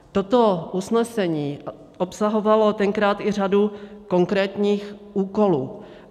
Toto usnesení obsahovalo tenkrát i řadu konkrétních úkolů.